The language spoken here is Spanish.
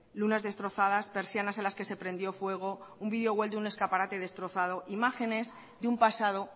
lunas destrozadas persianas en las que se prendió fuego un video de un escaparate destrozado imágenes de un pasado